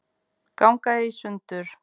ganga í sundur